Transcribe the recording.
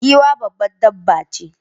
Giwa babbar dabba ce